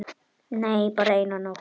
Nei, bara eina nótt.